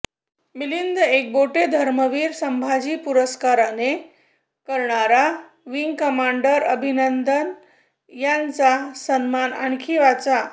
मिलिंद एकबोटे धर्मवीर संभाजी पुरस्काराने करणार wing commander Abhinandan यांचा सन्मान आणखी वाचा